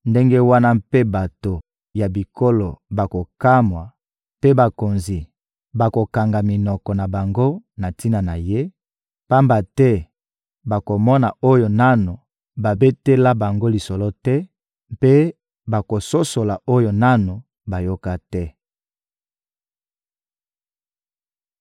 ndenge wana mpe bato ya bikolo bakokamwa, mpe bakonzi bakokanga minoko na bango na tina na ye, pamba te bakomona oyo nanu babetela bango lisolo te mpe bakososola oyo nanu bayoka te.